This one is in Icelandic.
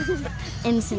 einu sinni